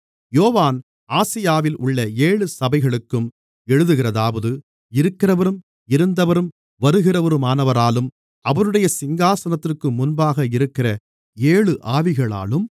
யோவான் ஆசியாவில் உள்ள ஏழு சபைகளுக்கும் எழுதுகிறதாவது இருக்கிறவரும் இருந்தவரும் வருகிறவருமானவராலும் அவருடைய சிங்காசனத்திற்கு முன்பாக இருக்கிற ஏழு ஆவிகளாலும்